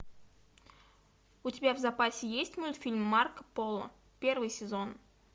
у тебя в запасе есть мультфильм марко поло первый сезон